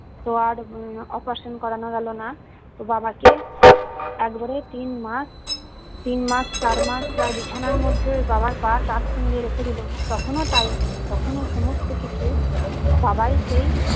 তো আর উম আহ operation করানো গেলোনা তো বাবাকে একবারে তিন মাস তিন মাস চার মাস প্রায় বিছানার মধ্যে বাবার পা truction দিয়ে রেখে দিলো তখনও তাই তখনও সমস্ত কিছু বাবা ই সেই